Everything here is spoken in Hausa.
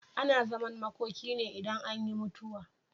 Ana zaman makoki ne idan anyi mutuwa.